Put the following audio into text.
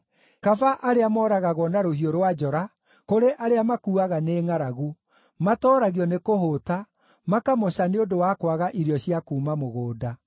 Kaba arĩa mooragagwo na rũhiũ rwa njora, kũrĩ arĩa makuuaga nĩ ngʼaragu; matooragio nĩkũhũũta, makamoca nĩ ũndũ wa kwaga irio cia kuuma mũgũnda.